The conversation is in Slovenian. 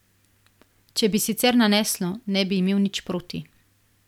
Če bi sicer naneslo, ne bi imel nič proti ...